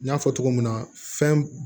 N y'a fɔ cogo min na fɛn b